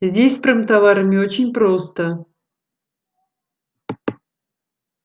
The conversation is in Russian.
здесь с промтоварами очень просто